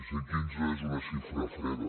cent quinze és una xifra freda